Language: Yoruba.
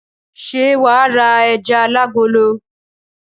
Ṣé wà á ra ẹja alágolo?